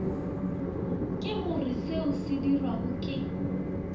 ke goreseo se sedirwago ke